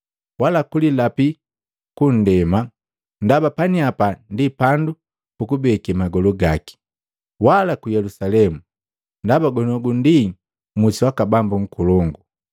wala kulilapi kwa nndema, ndaba paniapa ndi pandu pukubeke magolu gaki, wala ku Yelusalemu, ndaba goniogu ndi musi waka Bambu nkolongu.